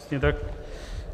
Přesně tak.